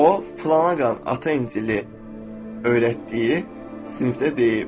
O, filana qanun, Ata İncili öyrətdiyi sinifdə deyib: